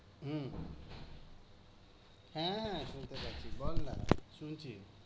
হু, হ্যাঁ শুনতে পাচ্ছি, বল না।